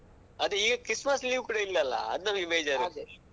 ಅದೇ ಈಗ Christmas leave ಕೂಡ ಇಲ್ಲ ಅಲ್ಲ ಅದ್ ನಮ್ಗೆ ಬೇಜಾರ್ .